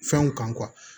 Fɛnw kan